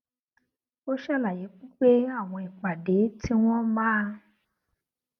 ó ṣàlàyé pé àwọn ìpàdé tí wón máa